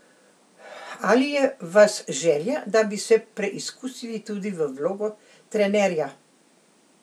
Ali je v vas želja, da bi se preizkusili tudi v vlogo trenerja?